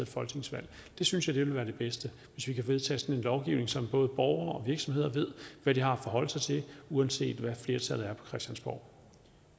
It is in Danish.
folketingsvalg jeg synes at det vil være det bedste hvis vi kan vedtage sådan en lovgivning så både borgere og virksomheder ved hvad de har at forholde sig til uanset hvad flertallet er på christiansborg